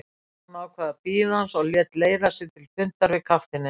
Jón ákvað að bíða hans og lét leiða sig til fundar við kafteininn.